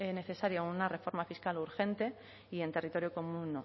necesaria una reforma fiscal urgente y en territorio común no